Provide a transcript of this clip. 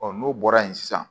n'o bɔra yen sisan